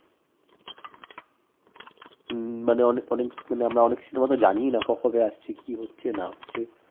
হম মানে অনে~অনেক মানে অনেক cinema তো জানিই না ক~কবে আসছে কী হচ্ছে না হচ্ছে